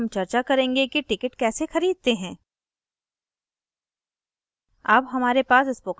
अगले tutorial में हम चर्चा करेंगे कि ticket कैसे खरीदते हैं